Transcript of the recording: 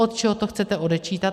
Od čeho to chcete odečítat?